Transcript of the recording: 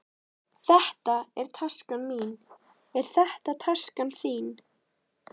Þetta er taskan mín. Er þetta taskan þín?